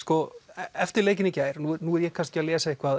eftir leikinn í gær og nú er ég kannski að lesa eitthvað